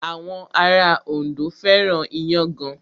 Àwọn ará Ondo fẹ́ràn iyán gan.